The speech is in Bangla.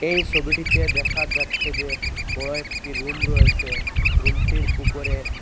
এ সবিটিতে দেখা যাচ্ছে যে বড় একটি রুম রয়েসে রুমটির উপরে--